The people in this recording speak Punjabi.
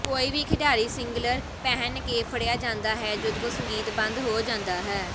ਕੋਈ ਵੀ ਖਿਡਾਰੀ ਸਿੰਗਲਰ ਪਹਿਨ ਕੇ ਫੜਿਆ ਜਾਂਦਾ ਹੈ ਜਦੋਂ ਸੰਗੀਤ ਬੰਦ ਹੋ ਜਾਂਦਾ ਹੈ